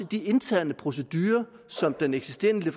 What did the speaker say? de interne procedurer som den eksisterende